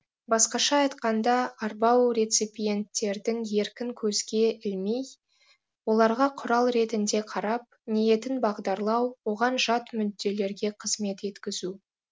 басқаша айтқанда арбау реципиенттердің еркін көзге ілмей оларға құрал ретінде қарап ниетін бағдарлау оған жат мүдделерге қызмет еткізу